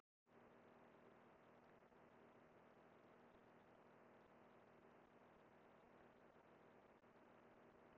Slíkt var ekki ólöglegt en stríddi þó gegn ríkjandi venju.